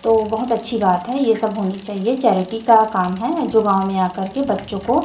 तो बहोत अच्छी बात है ये सब होनी चाहिए चैरिटी का काम है जो गांव में आकर के बच्चों को--